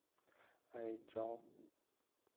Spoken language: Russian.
аиджал